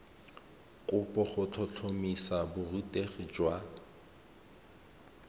kopo go tlhotlhomisa borutegi jwa